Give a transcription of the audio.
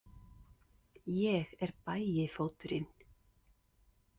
Ég er Bægifóturinn.